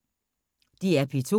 DR P2